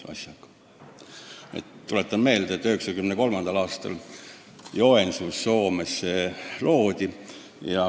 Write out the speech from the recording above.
Tuletan meelde, et 1993. aastal Soomes Joensuus see EFI kui ühing loodi.